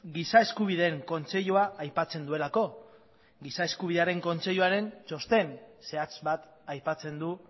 giza eskubideen kontseilua aipatzen duelako giza eskubidearen kontseiluaren txosten zehatz bat aipatzen du